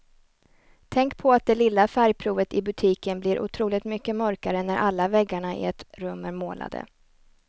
Tänk på att det lilla färgprovet i butiken blir otroligt mycket mörkare när alla väggarna i ett rum är målade.